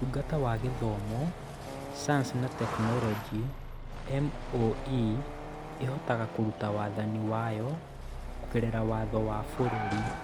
Ũtungata wa Gĩthomo, Sayansi na Tekinoronjĩ (MoE) ĩhotaga kũruta wathani wayo kũgerera Watho wa bũrũri.